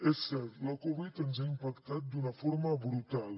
és cert la covid dinou ens ha impactat d’una forma brutal